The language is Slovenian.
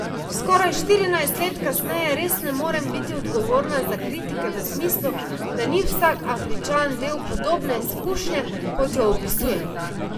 Skoraj štirinajst let kasneje res ne morem biti odgovorna za kritike v smislu, da ni vsak Afričan del podobne izkušnje, kot jo opisujem.